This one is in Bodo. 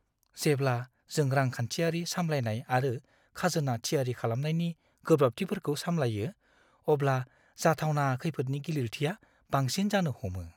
जेब्ला जों रांखान्थियारि सामलायनाय आरो खाजोना थियारि खालामनायनि गोब्राबथिफोरखौ सामलायो, अब्ला जाथावना खैफोदनि गिलिरथिआ बांसिन जानो हमो।